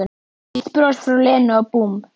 Eitt bros frá Lenu og búmm